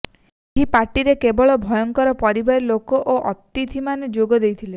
ଏହି ପାର୍ଟିରେ କେବଳ ଉଭୟଙ୍କ ପରିବାର ଲୋକ ଓ ଅତିଥିମାନେ ଯୋଗ ଦେଇଥିଲେ